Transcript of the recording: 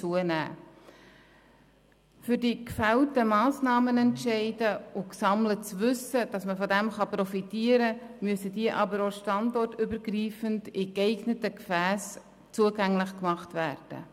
Damit man von den gefällten Massnahmenentscheiden und dem gesammelten Wissen profitieren kann, müssen diese standortübergreifend in geeigneten Gefässen zugänglich gemacht werden.